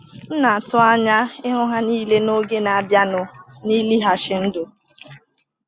M na-atụ anya ịhụ ha niile n’oge na-abịanụ n’ịlịghachi ndụ.